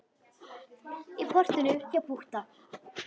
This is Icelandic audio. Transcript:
Í portinu hjá Pútta.